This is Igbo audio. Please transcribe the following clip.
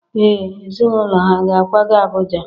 Ee ezinaụlọ ha ga-akwaga Abuja?